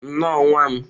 Nnọọ nwa m.